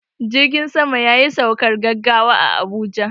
Jirgin saman yayi saukar gaggawa a Abuja.